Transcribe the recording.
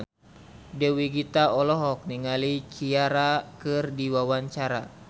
Dewi Gita olohok ningali Ciara keur diwawancara